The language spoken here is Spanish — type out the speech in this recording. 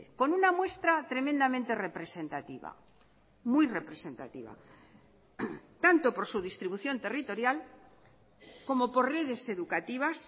con una muestra tremendamente representativa muy representativa tanto por su distribución territorial como por redes educativas